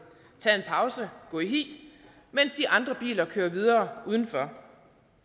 tage en pause og gå i hi mens de andre biler kører videre udenfor